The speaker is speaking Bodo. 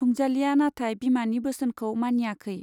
रंजालीया नाथाय बिमानि बोसोनखौ मानियाखै।